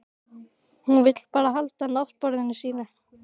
Hún vill bara halda náttborðinu sínu.